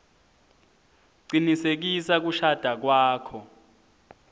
cinisekisa kushada kwakho